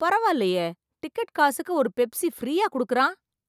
பரவாயில்லையே டிக்கெட் காசுக்கு ஒரு பெப்சி ஃப்ரீயா குடுக்கிறான்!